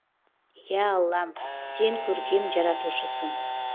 ия аллам сен көркем жаратушысың